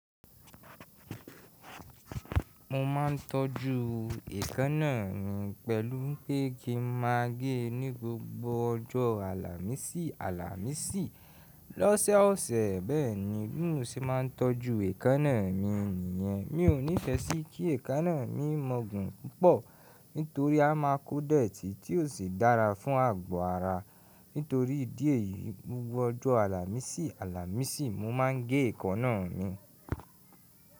Mo ma ńtọ́jú èékánná mi pẹ̀lú pé kí n má a gẹ́ ní gbogbo ọjọ́ Àlàmísì Àlàmísì. Lọ́sẹ̀ ọ̀sẹ̀ bẹ́ẹ̀ni bimoṣe ma ńtọ́jú èékánná mi nìyẹn. Mi ò níìfẹ̀ sí kí èékánná mi mọ̀gùn púpọ̀ nítorí a má a kó dẹ̀tì tí ò sí dára fún àgbọ̀ ara. Nítorí ìdí èyí, gbogbo ọjọ́ Àlàmísì Àlàmísì mo ma n gẹ́ èékánná mi.